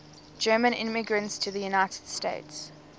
german immigrants to the united states